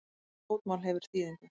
Hvert fótmál hefur þýðingu.